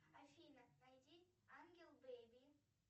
афина найди ангел бейби